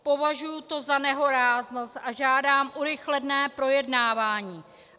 Považuji to za nehoráznost a žádám urychlené projednávání.